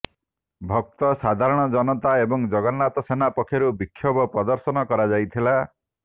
ଭକ୍ତ ସାଧାରଣ ଜନତା ଏବଂ ଜଗନ୍ନାଥ ସେନା ପକ୍ଷରୁ ବିକ୍ଷୋଭ ପ୍ରଦର୍ଶନ କରାଯାଇଥିଲା